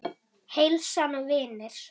Heilsan og vinir.